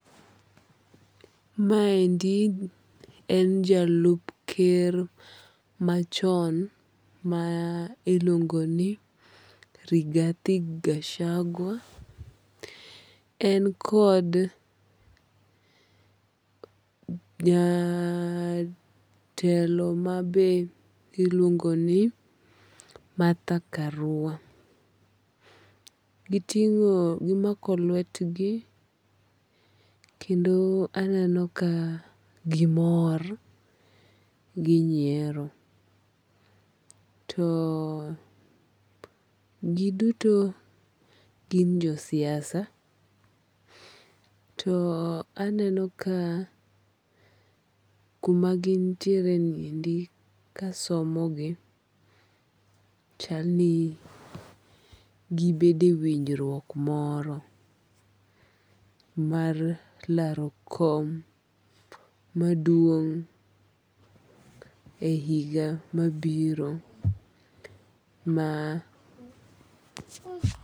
Ma endi en jalup ker machon ma iluongo ni Rigathi Gachagua. En kod jatelo mabe iluongo ni Martha Karua. Giting'o gimako lwetgi kendo aneno ka gimor ginyiero. To giduto gin jo siasa. To aneno ka kuma gintiere ni endi kasomo gi, chal ni gibedo e winjruok moro mar laro kom maduong' e higa mabiro mar.